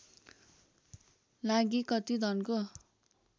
लागि कति धनको